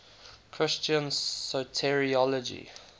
christian soteriology